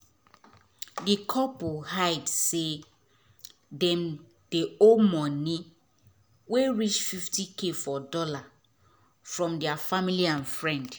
d couple hide say dem dey owe moni wey reach 50k for dollar from deir family and friend